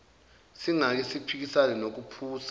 singake siphikisane nokuphusa